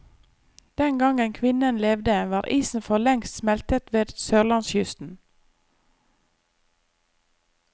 Den gangen kvinnen levde, var isen forlengst smeltet ved sørlandskysten.